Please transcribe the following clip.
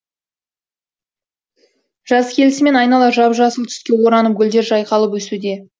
жаз келісімен айнала жап жасыл түске оранып гүлдер жайқалып өсуде